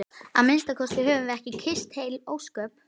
Að minnsta kosti höfðum við kysst heil ósköp.